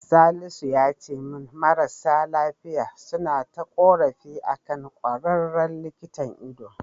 Salisu yace min marasa lafiya suna ta ƙorafi akan ƙwararren likitan ido.